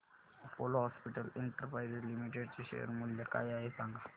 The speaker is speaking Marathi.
अपोलो हॉस्पिटल्स एंटरप्राइस लिमिटेड चे शेअर मूल्य काय आहे सांगा